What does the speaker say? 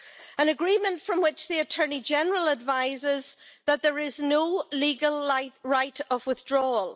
an agreement from which the Attorney General advises that there is no legal right of withdrawal.